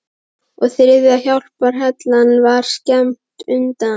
Og þriðja hjálparhellan var skammt undan.